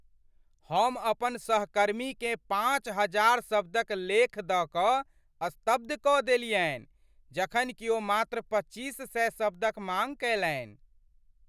हम अपन सहकर्मीकेँ पाँच हजार शब्दक लेख दऽ कऽ स्तब्ध कऽ देलियनि जखन कि ओ मात्र पच्चीस सए शब्दक माँग कयलनि।